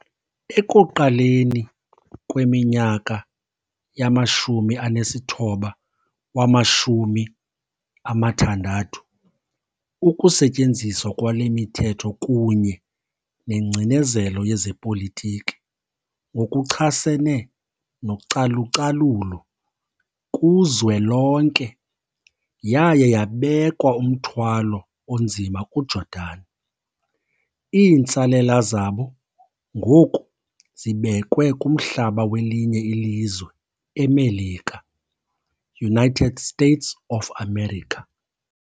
Ekuqaleni kweminyaka yama-1960, ukusetyenziswa kwale mithetho kunye nengcinezelo yezepolitiki ngokuchasene nocalucalulo kuzwelonke yaye yabekwa umthwalo onzima kuJordan. Iintsalela zabo ngoku zibekwe kumhlaba welinye ilizwe eMelika, United States of America.